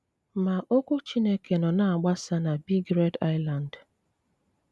Má ókwú Chínéké nó ná-ágbásá ná Bíg Réd Ísland.